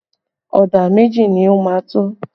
Ọ̀dà méjì ni ó máa tó?